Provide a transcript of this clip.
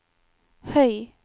høy